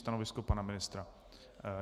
Stanovisko pana ministra?